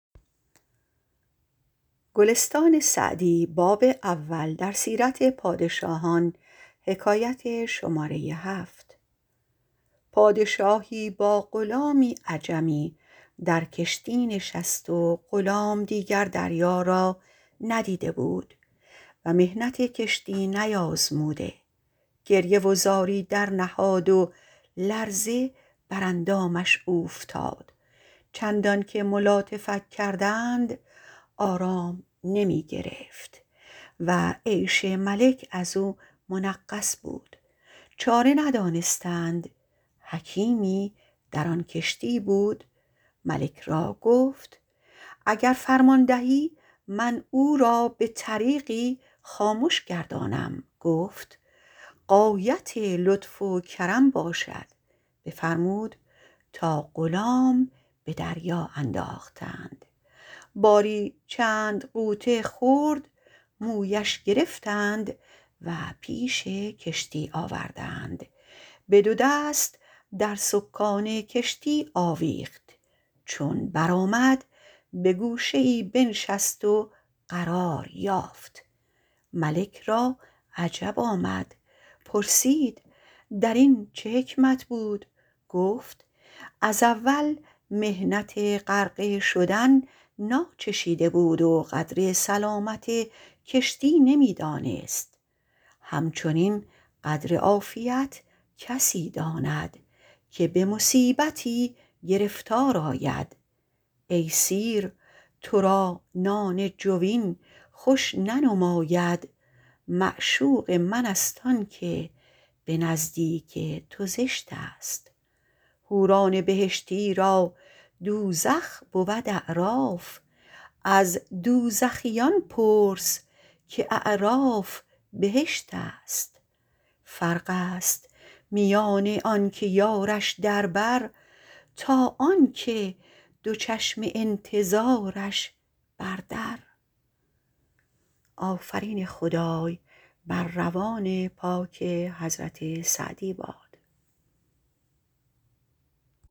پادشاهی با غلامی عجمی در کشتی نشست و غلام دیگر دریا را ندیده بود و محنت کشتی نیازموده گریه و زاری درنهاد و لرزه بر اندامش اوفتاد چندان که ملاطفت کردند آرام نمی گرفت و عیش ملک از او منغص بود چاره ندانستند حکیمی در آن کشتی بود ملک را گفت اگر فرمان دهی من او را به طریقی خامش گردانم گفت غایت لطف و کرم باشد بفرمود تا غلام به دریا انداختند باری چند غوطه خورد مویش گرفتند و پیش کشتی آوردند به دو دست در سکان کشتی آویخت چون برآمد به گوشه ای بنشست و قرار یافت ملک را عجب آمد پرسید در این چه حکمت بود گفت از اول محنت غرقه شدن ناچشیده بود و قدر سلامت کشتی نمی دانست همچنین قدر عافیت کسی داند که به مصیبتی گرفتار آید ای سیر تو را نان جوین خوش ننماید معشوق من است آن که به نزدیک تو زشت است حوران بهشتی را دوزخ بود اعراف از دوزخیان پرس که اعراف بهشت است فرق است میان آن که یارش در بر تا آن که دو چشم انتظارش بر در